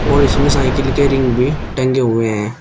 और इसमें साइकिल के रिंग भी टंगे हुए हैं।